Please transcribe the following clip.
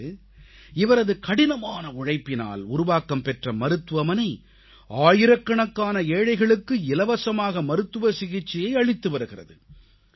இன்று இவரது கடினமான உழைப்பினால் உருவாக்கம் பெற்ற மருத்துவமனை ஆயிரக்கணக்கான ஏழைகளுக்கு இலவசமாக மருத்துவ சிகிச்சையை அளித்து வருகிறது